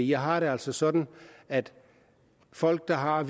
jeg har det altså sådan at folk der har